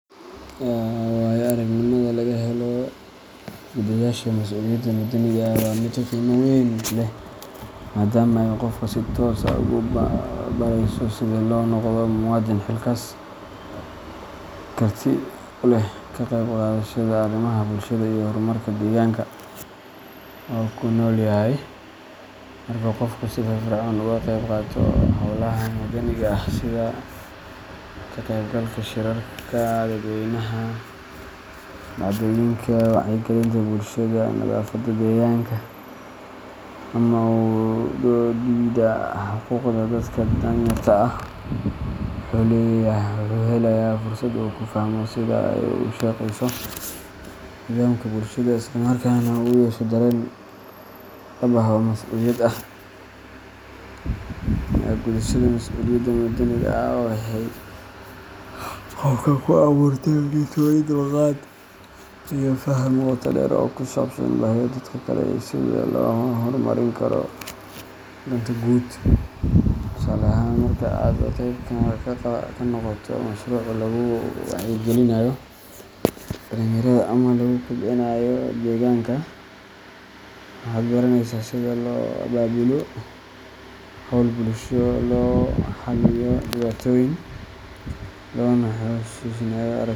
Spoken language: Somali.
Waayo-aragnimada laga helo gudashada mas’uuliyadda madaniga ah waa mid qiimo weyn leh, maadaama ay qofka si toos ah ugu barayso sida loo noqdo muwaadin xilkas ah, karti u leh ka qeyb qaadashada arrimaha bulshada iyo horumarka deegaanka uu ku nool yahay. Marka qofku si firfircoon uga qayb qaato hawlaha madaniga ah sida ka qaybgalka shirarka dadweynaha, doorashooyinka, wacyigelinta bulshada, nadaafadda deegaanka, ama u doodidda xuquuqda dadka dan-yarta ah, wuxuu helayaa fursad uu ku fahmo sida ay u shaqeyso nidaamka bulshada, isla markaana uu u yeesho dareen dhab ah oo masuuliyad ah. Gudashada mas’uuliyadda madaniga ah waxay qofka ku abuurtaa kalsooni, dulqaad, iyo faham qoto dheer oo ku saabsan baahida dadka kale iyo sida loo horumarin karo danta guud. Tusaale ahaan, marka aad qeyb ka noqoto mashruuc lagu wacyigelinayo dhalinyarada ama lagu kobcinayo deegaanka, waxaad baranaysaa sida loo abaabulo hawl bulsho, loo xalliyo dhibaatooyinka, loona xushmeeyo aragtida dadka kale.